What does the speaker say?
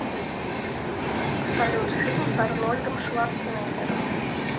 салют фильм с арнольдом шварцнегером